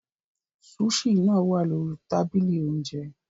Sushi náà wà lórí tábìlì oúnjẹ.